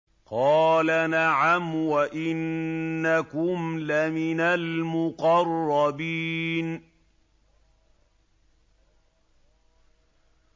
قَالَ نَعَمْ وَإِنَّكُمْ لَمِنَ الْمُقَرَّبِينَ